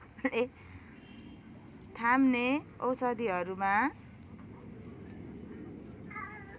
थाम्ने औषधिहरूमा